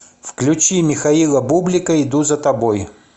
включи михаила бублика иду за тобой